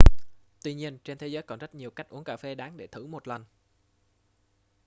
tuy nhiên trên thế giới còn rất nhiều cách uống cà phê đáng để thử một lần